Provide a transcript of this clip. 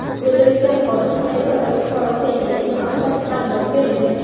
O‘ldirilgan xodim qaysi davlat fuqarosi ekanligi haqida ma’lumot berilmagan.